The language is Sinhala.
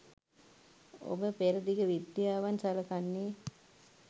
ඔබ පෙරදිග විද්‍යාවන් සලකන්නේ